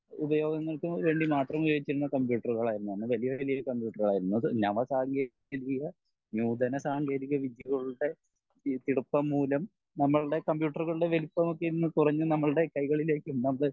ഉപയോഗങ്ങൾക്ക് വേണ്ടി മാത്രം ഉപയോഗിക്കുന്ന കമ്പ്യൂട്ടറുകൾ ആയിരുന്നു അന്ന് വലിയ വലിയ കമ്പ്യൂട്ടറുകൾ ആയിരുന്നു അത് നവസാങ്കേതിക നൂതന സാങ്കേതിക വിദ്യകളുടെ മൂലം നമ്മുളുടെ കമ്പ്യൂട്ടറുകളുടെ വലുപ്പം ഒക്കെ ഇന്ന് കൊറഞ്ഞ് നമ്മളുടെ കൈകളിലേക് നമ്മൾ